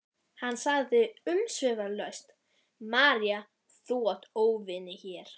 Hann sagði umsvifalaust: María þú átt óvini hér.